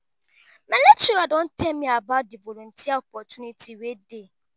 my lecturer don tell me about di volunteer opportunity wey dey.